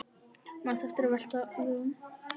Manstu eftir að velta vöngum?